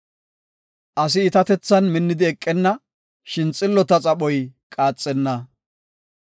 Asi iitatethan minnidi eqenna; shin xillota xaphoy qaaxenna.